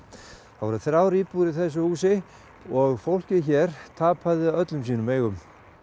það voru þrjár íbúðir í þessu húsi og fólkið hér tapaði öllum sínum eigum